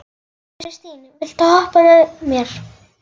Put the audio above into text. Kristine, viltu hoppa með mér?